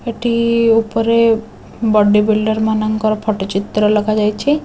ଏଠି ଉପରେ body builder ମାନଙ୍କର ଫଟ ଚିତ୍ର ଲଗାଯାଇଛି।